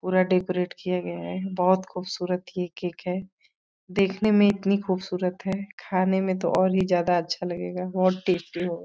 पूरा डेकोरेट किया गया है। बहोत खूबसूरत ही केक है। देखने में इतनी खूबसूरत है खाने में तो और ही ज्यादा अच्छा लगेगा। बहोत टेस्टी होगा।